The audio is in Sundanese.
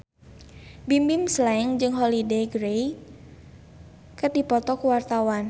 Bimbim Slank jeung Holliday Grainger keur dipoto ku wartawan